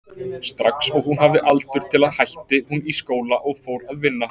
Strax og hún hafði aldur til hætti hún í skóla og fór að vinna.